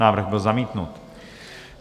Návrh byl zamítnut.